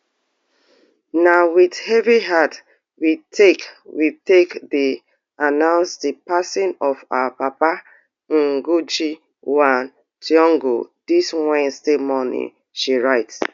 na wit heavy heart we take we take dey announce di passing of our papa ngugi wa thiongo dis wednesday morning she write